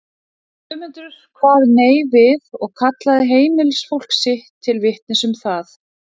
Guðmundur kvað nei við og kallaði heimilisfólk sitt til vitnis um það.